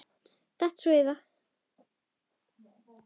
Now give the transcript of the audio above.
Datt svo í það.